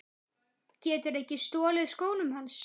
Geturðu ekki stolið skónum hans